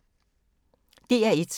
DR1